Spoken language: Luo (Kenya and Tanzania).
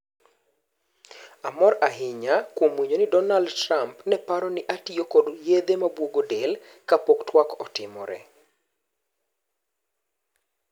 "Amor ahinya kwuom winjo Donald Trump neparo ni ne atiyo kod yedhe mabwogo del(Ka pok twak otimore).